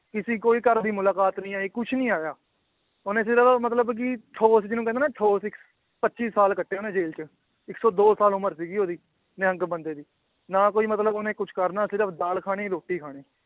ਕਿਸੇ ਕੋਈ ਘਰ ਦੀ ਮੁਲਾਕਾਤ ਨੀ ਆਈ ਕੁਛ ਨੀ ਆਇਆ ਉਹਨੇ ਸਿਰਫ਼ ਮਤਲਬ ਕਿ ਠੋਸ ਜਿਹਨੂੰ ਕਹਿੰਦੇ ਨਾ ਠੋਸ ਇੱਕ ਪੱਚੀ ਸਾਲ ਕੱਟੇ ਉਹਨੇ ਜੇਲ੍ਹ 'ਚ, ਇੱਕ ਸੌ ਦੋ ਸਾਲ ਉਮਰ ਸੀਗੀ ਉਹਦੀ ਨਿਹੰਗ ਬੰਦੇ ਦੀ, ਨਾ ਕੋਈ ਮਤਲਬ ਉਹਨੇ ਕੁਛ ਕਰਨਾ ਸਿਰਫ਼ ਦਾਲ ਖਾਣੀ ਰੋਟੀ ਖਾਣੀ